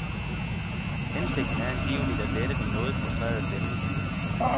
Hensigten er angiveligt at lette den noget frustrerede stemning.